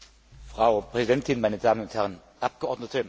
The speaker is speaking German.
Frau Präsidentin, meine Damen und Herren Abgeordnete!